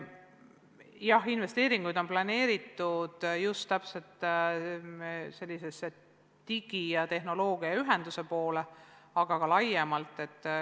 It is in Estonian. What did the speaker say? Jah, investeeringuid on planeeritud selliselt, et suund on digi- ja tehnoloogiaühenduse poole, aga ka laiemalt.